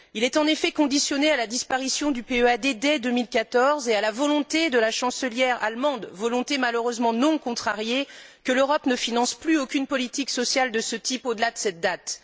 Il est en effet conditionné à la disparition du PEAD dès 2014, et à la volonté de la chancelière allemande, volonté malheureusement non contrariée, que l'Europe ne finance plus aucune politique sociale de ce type au delà de cette date.